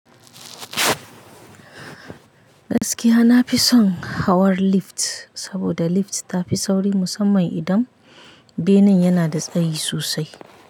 Gaskiya nafi son hawar lift saboda lift tafi sauri musamman idan benen yana da tsayi sosai.